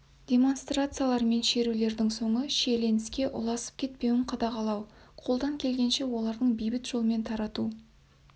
демонстрациялар мен шерулердің соңы шиеленіске ұласып кетпеуін қадағалау қолдан келгенше оларды бейбіт жолмен тарату